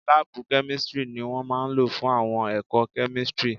Láàbù kẹ́místrì ni wọ́n máa lò fún àwọn ẹ̀kọ́ kẹ́místrì